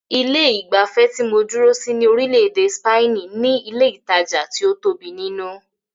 Ilé ìgbafẹ́ tí mó dúró sí ní orílẹ̀-èdè spaini ní ilé ìtajà tí o tóbi nínú.